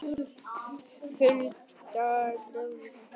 Hulda giftist Hannesi Hall.